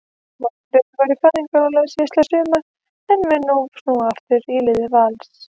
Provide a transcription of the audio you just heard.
Málfríður var í fæðingarorlofi síðastliðið sumar en mun nú snúa aftur í lið Vals.